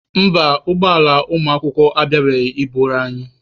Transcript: Mba, ụgbọ ala ụmụakwụkwọ abịabeghị I buru anyị.